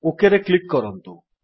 OKରେ click କରନ୍ତୁ